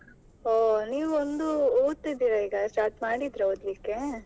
ಹೋ ನೀವೊಂದು ಓದ್ತಿದೀರಾ, ಈಗ start ಮಾಡಿದ್ರಾ ಓದ್ಲಿಕ್ಕೆ?